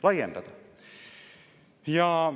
Laiendada!